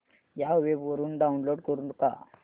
या वेब वरुन डाऊनलोड करू का